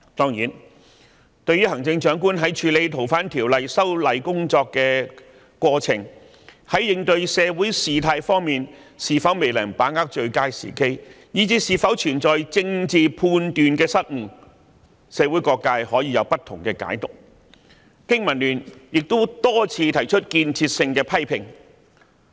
誠然，對於行政長官在處理修訂《逃犯條例》的過程中，在應對社會事態方面，是否未能把握最佳時機，以至是否存在政治判斷上的失誤，社會各界可以有不同解讀，經民聯亦曾多番提出建設性的批評。